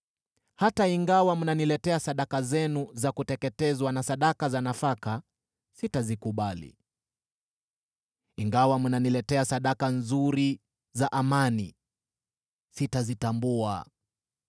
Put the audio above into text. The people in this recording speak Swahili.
Hata ingawa mnaniletea sadaka zenu za kuteketezwa na sadaka za nafaka, sitazikubali. Ingawa mnaniletea sadaka nzuri za amani, sitazitambua.